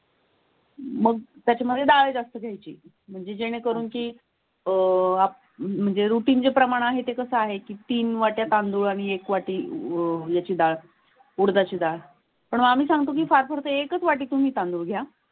मग त्याच्यामध्ये डाळ जास्त घ्यायची, म्हणजे जेणेकरून की अह म्हणजे रुटिनचे प्रमाण आहे ते कसं आहे की तीन वाटय़ा तांदूळ एक वाटी अं याची डाळ उडदाची डाळ पण आम्ही सांगतो की फार प्रत्येकच वाटते तुम्ही सांगू द्या.